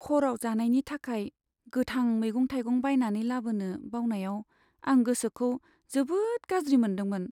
हराव जानायनि थाखाय गोथां मैगं थाइगं बायनानै लाबोनो बावनायाव, आं गोसोखौ जोबोद गाज्रि मोनदोंमोन।